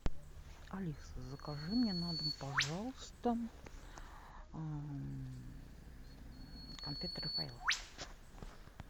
алиса закажи мне на дом пожалуйста конфеты рафаэлло